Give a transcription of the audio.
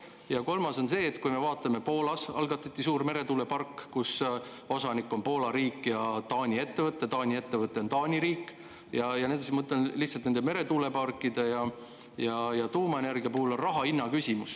Ja kolmas on see, et kui me vaatame, et Poolas algatati suur meretuulepargi, kus osanik on Poola riik ja Taani ettevõte – Taani ettevõte on Taani riik –, siis ma mõtlen, et meretuuleparkide ja tuumaenergia puhul on raha hinna küsimus.